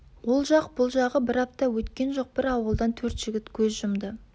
ол жақ бұл жағы бір апта өткен жоқ бір ауылдан төрт жігіт көз жұмды